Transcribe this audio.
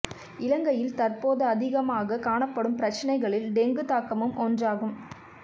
இலங்கையில் தற்போதா அதிகமாகக் காணப்படும் பிரச்சினைகளில் டெங்குத் தாக்கமும் ஒன்றாகும்